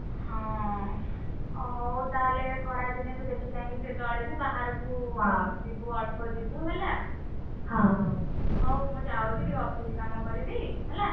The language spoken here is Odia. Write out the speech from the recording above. ହଁ ଓହଉ ତାହେଲେ ଖରା ଦିନେ ତୁ ଦେଖି ଚାହିଁଟିକେ ଚଳିବୁ ବାହାରକୁ ଯିବୁ ଅଳ୍ପ ଯିବୁ ହେଲା। ହଉ ମୁଁ ଯାଉଛି ଟିକେ office କାମ କରିବି ହେଲା।